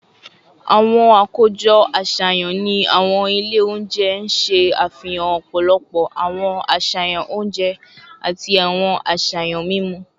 Awọn akojọ aṣayan ni awọn ile ounjẹ n ṣe afihan ọpọlọpọ awọn aṣayan ounjẹ ounjẹ ati awọn aṣayan mimu